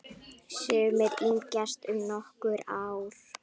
Sumir yngjast um nokkur ár.